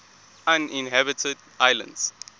uninhabited islands